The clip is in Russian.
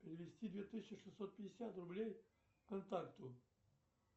перевести две тысячи шестьсот пятьдесят рублей контакту